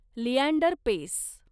Leander Paes